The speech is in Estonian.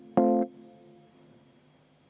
Ja oskate äkki öelda, mis see 0,5% siis kokkuvõttes summas on?